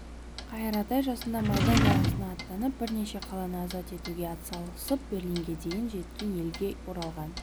қайыр атай жасында майдан даласына аттанып бірнеше қаланы азат етуге атсалысып берлинге дейін жеткен елге оралған